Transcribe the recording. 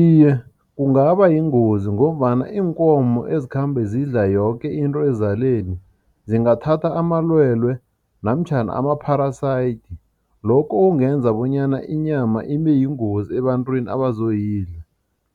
Iye, kungaba yingozi ngombana iinkomo ezikhamba zidla yoke into ezaleni, zingathatha amalwelwe namtjhana ama-parasite, lokho kungenza bonyana inyama ibeyingozi ebantwini abazoyidla.